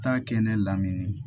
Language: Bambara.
Taa kɛ ne lamini